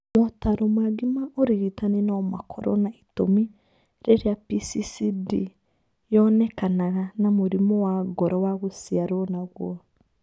Motaaro mangĩ ma ũrigitani no makorũo na itũmi rĩrĩa PCCD yonekanaga na mũrimũ wa ngoro wa gũciarũo naguo.